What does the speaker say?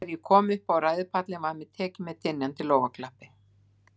Þegar ég kom upp á ræðupallinn, var mér tekið með dynjandi lófaklappi.